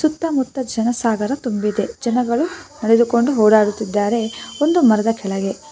ಸುತ್ತಮುತ್ತ ಜನ ಸಾಗರ ತುಂಬಿದೆ ಜನಗಳು ನಡೆದುಕೊಂಡು ಓಡಾಡುತ್ತಿದ್ದಾರೆ ಒಂದು ಮರದ ಕೆಳಗೆ.